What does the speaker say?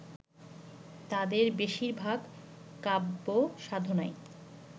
তাঁদের বেশিরভাগ কাব্যসাধনায়